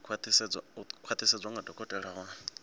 u khwaṱhisedzwa nga dokotela wa